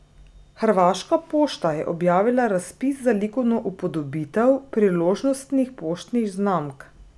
Hrvaška pošta je objavila razpis za likovno upodobitev priložnostnih poštnih znamk.